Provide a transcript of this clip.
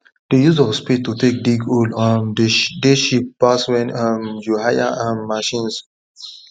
the use of spade to take dig hole um dey cheap pass when um you hire um machines